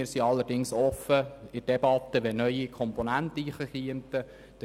Wir sind allerdings offen, sollten neue Komponenten in die Debatte eingehen.